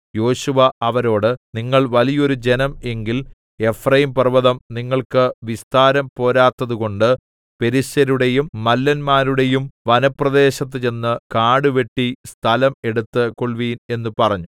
യോശുവ അവരോട് നിങ്ങൾ വലിയൊരു ജനം എങ്കിൽ എഫ്രയീംപർവ്വതം നിങ്ങൾക്ക് വിസ്താരം പോരാത്തതുകൊണ്ട് പെരിസ്യരുടെയും മല്ലന്മാരുടെയും വനപ്രദേശത്ത് ചെന്ന് കാടുവെട്ടി സ്ഥലം എടുത്തു കൊൾവീൻ എന്ന് പറഞ്ഞു